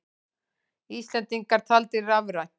Íslendingar taldir rafrænt